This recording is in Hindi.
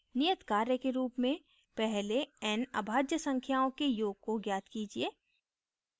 नियत कार्य के रूप में पहले n अभाज्य संख्याओं के योग को ज्ञात कीजिए